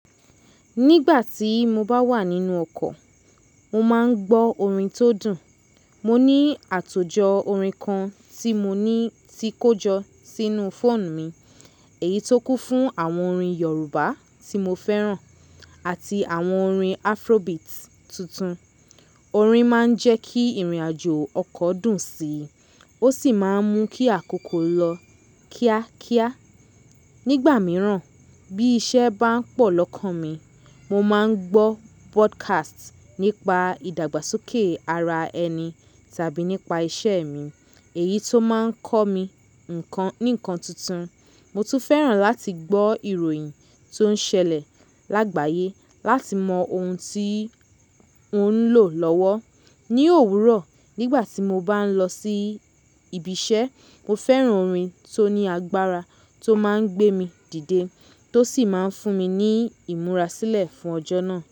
Nígbà tí mo bá wà nínú ọkọ̀, mo máa ń gbọ́ orin tó dùn. Mo ní àtòjọ orin kan tí mo ní tí kójọ sínú fóònù mi, èyí tó kún fún àwọn orin Yorùbá tí mo fẹ́ràn àti àwọn orin Afrobeat tuntun. Orin máa ń jẹ́ kí ìrìnàjò ọkọ̀ dùn síi, ó sì máa ń mú kí àkókò lọ kíákíá. Nígbà mìíràn bí iṣẹ́ bá pọ̀ lọ́kàn mi, mo máa ń gbọ́ podcast nípa ìdàgbàsókè ara ẹni tàbí nípa iṣẹ́ mi, èyí ti máa ń kọ́ mi nǹkan ní ǹkan tuntun. Mo tún fẹ́ràn láti gbọ́ ìròyìn tó ń ṣẹlẹ̀ lágbàyé láti mọ ohun tí mò ń lò lọ́wọ́. Ni òwúrọ̀, nígbà tí mo bá ń lọ sí ibi iṣẹ́, mo fẹ́ràn orin tó ní agbára tó máa ń gbé mi dìde, tó sì máa ń fún mi ní ìmúra sílẹ̀ fún ọjọ́ náà.